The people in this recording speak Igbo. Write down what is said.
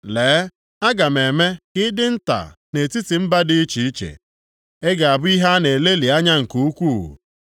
“Lee, aga m eme ka ị dị nta nʼetiti mba dị iche iche; ị ga-abụ ihe a na-elelị anya nke ukwuu.